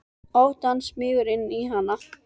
Ótti hans smýgur inn í hana.